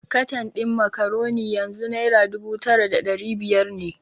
Katan din Macaroni yanzu Naira dubu tara da dari biyar ne.